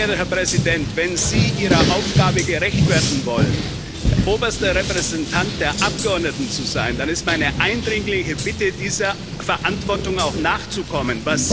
Sehr geehrter Herr Präsident, wenn Sie Ihrer Aufgabe gerecht werden wollen, oberster Repräsentant der Abgeordneten zu sein, dann ist es meine eindringliche Bitte, dieser Verantwortung auch nachzukommen.